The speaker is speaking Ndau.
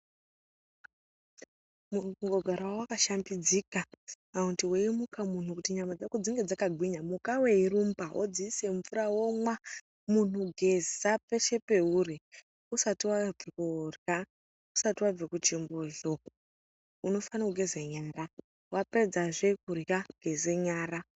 Muntu kungogarawo wakashambidzika kana kuti weimukawo muntu kuti nyama dzako dzinge dzakagwinya muka weyirumba wodziise mvura womwa muntu geza peshe pauri usati wauye kunorya ,usati wave kuchimbuzi uko unofane kugeze nyara, wapedza zvee kurya geze nyara.